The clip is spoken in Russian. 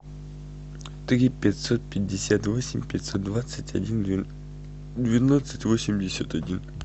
три пятьсот пятьдесят восемь пятьсот двадцать один двенадцать восемьдесят один